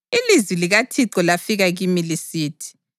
Ilizwi likaThixo lafika kimi lisithi: